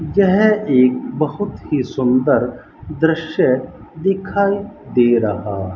यह एक बहुत ही सुंदर दृश्य दिखाई दे रहा--